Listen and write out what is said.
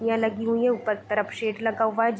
खिड़कियाँ लगी हुई है उपर तरफ शेड लगा हुआ है ज --